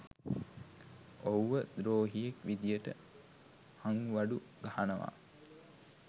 ඔහුව ද්‍රෝහියෙක් විදියට හංවඩු ගහනවා.